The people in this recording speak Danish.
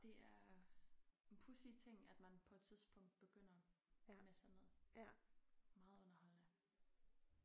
Det er en pudsig ting at man på et tidspunkt begynder med sådan noget. Meget underholdende